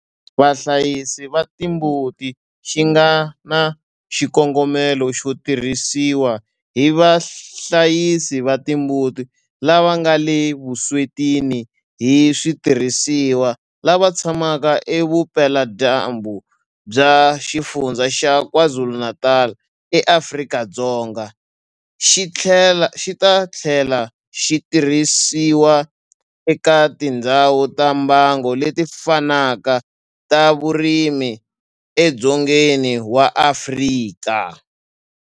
Vahlayisi va timbuti xi nga na xikongomelo xo tirhisiwa hi vahlayisi va timbuti lava nga le vuswetini hi switirhisiwa lava tshamaka edzonga vupeladyambu bya Xifundzha xa KwaZulu-Natal eAfrika-Dzonga, xi ta tlhela xi tirhisiwa eka tindhawu ta mbango leti fanaka ta vurimi edzongeni wa Afrika.